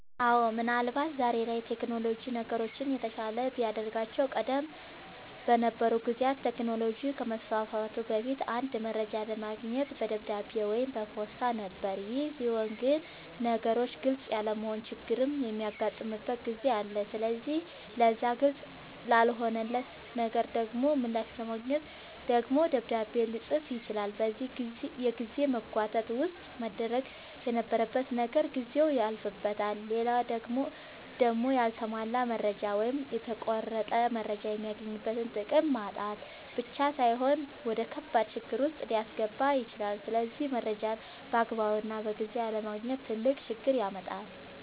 አወ ምን አልባት ዛሬ ላይ ቴክኖሎጅ ነገሮችን የተሻለ ቢያደርጋቸውም ቀደም በነበሩ ጊዜያት ቴክኖሎጅ ከመስፋፋቱ በፊት አንድ መረጃ ለማግኘት በደብዳቤ ወይም በፖስታ ነበር ይሄ ሲሆን ግን ነገሮች ግልፅ ያለመሆን ችግርም የሚያጋጥምበት ጊዜ አለ ስለዚህ ለዛ ግልፅ ላልሆነለት ነገር ደሞ ምላሽ ለማግኘት ደግሞ ደብዳቤ ልፅፍ ይችላል በዚህ የጊዜ መጓተት ውስጥ መደረግ የነበረበት ነገር ጊዜው ያልፍበታል። ሌላው ደሞ ያልተሟላ መረጃ ወይም የተቆረጠ መረጃ የሚገኝበትን ጥቅም ማጣት ብቻ ሳይሆን ወደከባድ ችግር ዉስጥ ሊያስገባ ይችላል ስለዚህ መረጃን ባግባቡና በጊዜው አለማግኘት ትልቅ ችግር ያመጣል